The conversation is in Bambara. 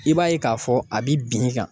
I b'a ye k'a fɔ a bi bin kan